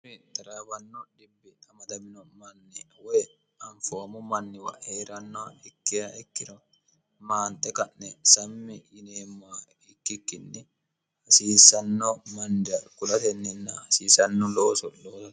xaraawanno dhimbi amadamino manni woy anfoomu manniwa hee'ranno ikkeha ikkiro maante ka'ne sammi yineemmoa ikkikkinni hasiisanno mannira kulatenninna hasiisanno looso looo